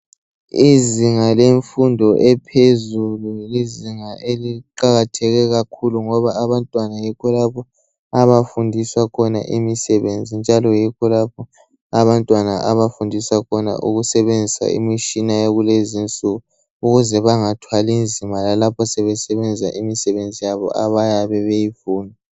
Izinga lemfundo ephezulu yizinga eliqakatheke kakhulu ngoba abantwana yikho lapho abafundiswa khona imisebenzi njalo yikho lapho abantwana abafundiswa khona ukusebenzisa imitshina yakulezi nsuku ukuze bangathwali nzima lalapho sebesebenza imisebenzi yabo abayabe beyifuna.